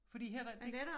Fordi her der de